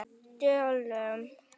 Norskum döllum.